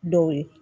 Dɔw ye